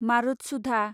मारुतसुधा